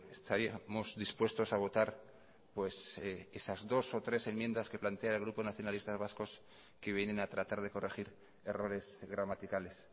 estaríamos dispuestos a votar pues esas dos o tres enmiendas que plantea el grupo nacionalistas vascos que vienen a tratar de corregir errores gramaticales